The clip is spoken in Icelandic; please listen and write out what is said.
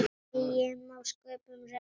Eigi má sköpum renna